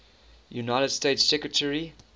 united states secretary